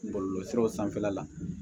Bɔlɔlɔsiraw sanfɛla la